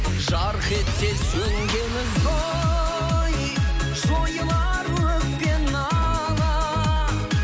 жарқ етсе сөнген ізгі ой жойылар өкпе нала